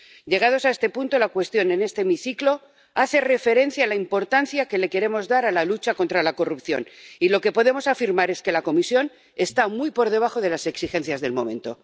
Llegados a este punto, la cuestión en este hemiciclo hace referencia a la importancia que le queremos dar a la lucha contra la corrupción y lo que podemos afirmar es que la Comisión está muy por debajo de las exigencias del momento.